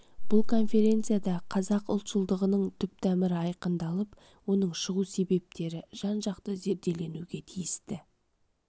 бұл конференцияда қазақ ұлтшылдығының түптамыры айқындалып оның шығу себептері жан-жақты зерделенуге тиісті